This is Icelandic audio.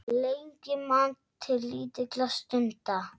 Lengi man til lítilla stunda